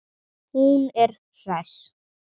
Hún er hress.